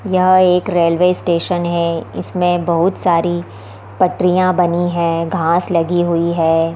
यह एक railway station है इसमें बहुत सारी पटरियाँ बनी हैं घास लगी हुई है।